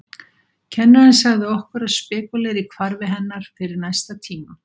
Kennarinn sagði okkur að spekúlera í hvarfi hennar fyrir næsta tíma.